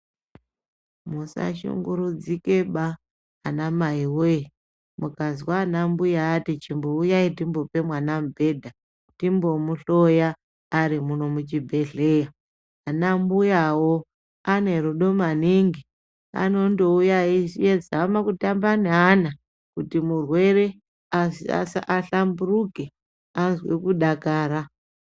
Musashunguridzikaba ana mai woye mukazwa ana mbuya ati chimbouyai timbopa mwana mubhedha, timbomuhloya arimuno muchibhehleya. Ana mbuyawo ane rudo maningi anondouya eizama kutamba neana kuti murwere ahlamburuke, azwe kudakara.